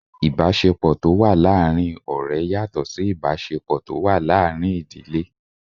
Ìbáṣepọ̀ tó wà láàrin ọ̀rẹ́ yàtọ̀ Sí ìbáṣepọ̀ tó wà láàrin ìdílé.